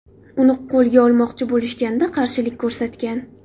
Uni qo‘lga olmoqchi bo‘lishganida qarshilik ko‘rsatgan.